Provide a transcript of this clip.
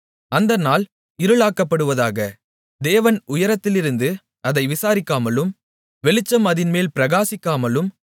அந்த நாள் இருளாக்கப்படுவதாக தேவன் உயரத்திலிருந்து அதை விசாரிக்காமலும் வெளிச்சம் அதின்மேல் பிரகாசிக்காமலும்